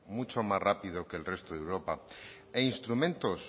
mucho más rápido que el resto de europa e instrumentos